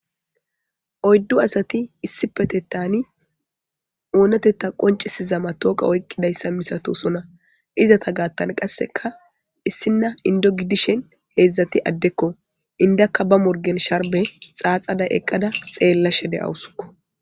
Oyddu asati issipetetani oonotetta qoncisizama tooqa oykqidayssa misatosona izata gaattan qasseka issinna indo gidishen heedzdzati addekko indakka ba morgen sharbe xaaxada eqqada xeella shede awusukko.